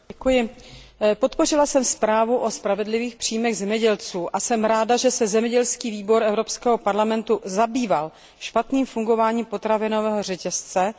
Podpořila jsem zprávu o spravedlivých příjmech zemědělců a jsem ráda, že se Výbor pro zemědělství a rozvoj venkova Evropského parlamentu zabýval špatným fungováním potravinového řetězce, resp.